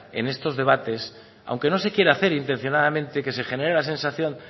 en estos debates aunque no se quiera hacer intencionadamente que se genere la sensación